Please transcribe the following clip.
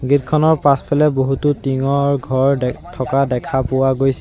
Gate খনৰ পাছফালে বহুতো টিংঙৰ ঘৰ দে থকা দেখা পোৱা গৈছে।